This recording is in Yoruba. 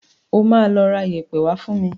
O máa lọ ra iyẹ̀pẹ̀ wá fún mi.